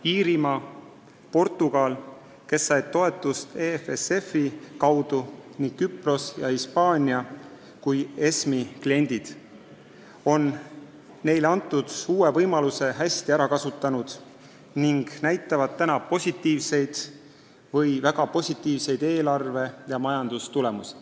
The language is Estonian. Iirimaa ja Portugal, kes said toetust EFSF-i kaudu, ning Küpros ja Hispaania kui ESM-i kliendid on neile antud uue võimaluse hästi ära kasutanud ning näitavad positiivseid või väga positiivseid eelarve- ja majandustulemusi.